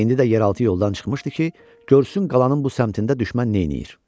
İndi də yeraltı yoldan çıxmışdı ki, görsün qalanın bu səmtində düşmən neyləyir.